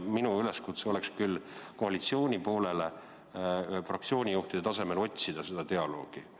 Minul on küll koalitsiooni poolele üleskutse fraktsioonijuhtide tasemel otsida seda dialoogi.